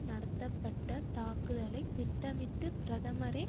நடத்தப்பட்ட தாக்குதலை திட்டமிட்டு பிரதமரே